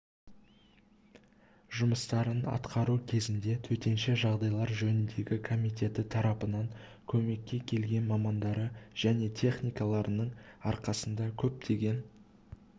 жумыстарын атқару кезінде төтенше жағдайлар жөніндегі комитеті тарапынан көмекке келген мамандары және техникаларының арқасында көптеген